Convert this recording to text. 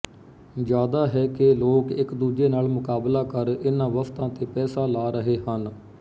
ਜਿਆਦਾ ਹੈ ਕਿ ਲੋਕ ਇਕਦੂਜੇ ਨਾਲ ਮੁਕਾਬਲਾ ਕਰ ਇਹਨ੍ਹਾਂ ਵਸਤਾਂ ਤੇ ਪੈਸਾ ਲਾ ਰਹੇ ਹਨ